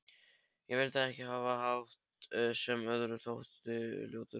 Ég vildi ekki hafa hatt sem öðrum þótti ljótur.